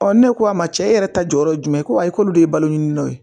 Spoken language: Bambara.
ne ko a ma cɛ e yɛrɛ ta jɔyɔrɔ ye jumɛn ye ko ayi k'olu de ye balo ɲini n'a ye